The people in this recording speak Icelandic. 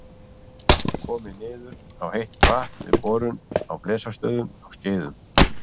Komið niður á heitt vatn við borun á Blesastöðum á Skeiðum.